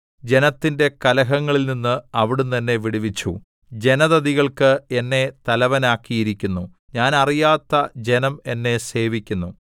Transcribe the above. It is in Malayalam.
ജനത്തിന്റെ കലഹങ്ങളിൽനിന്ന് അവിടുന്ന് എന്നെ വിടുവിച്ചു ജനതതികൾക്ക് എന്നെ തലവനാക്കിയിരിക്കുന്നു ഞാൻ അറിയാത്ത ജനം എന്നെ സേവിക്കുന്നു